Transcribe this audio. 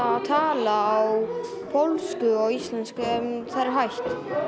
að tala á pólsku og íslensku en það er hægt